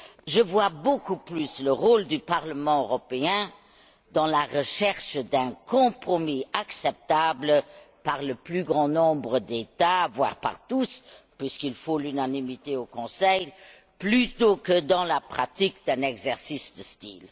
Je vois beaucoup plus le rôle du Parlement européen dans la recherche d'un compromis acceptable par le plus grand nombre d'États voire par tous puisqu'il faut l'unanimité au Conseil plutôt que dans la pratique d'un exercice de style.